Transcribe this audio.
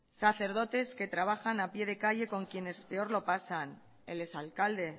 sacerdotes que trabajan a pie de calle con quienes peor lo pasan el ex alcalde